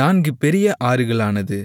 நான்கு பெரிய ஆறுகளானது